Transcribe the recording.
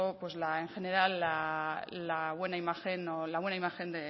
pues la en general la buena imagen o la buena imagen